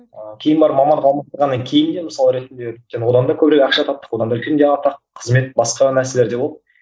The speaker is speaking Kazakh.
ыыы кейін барып мамандық алмастырғаннан кейін де мысалы ретінде одан да көбірек ақша таптық одан да үлкен де атақ қызмет басқа нәрселер де болды